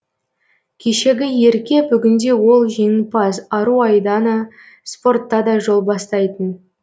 кешегі ерке бүгінде ол жеңімпаз ару айдана спортта да жол бастайтын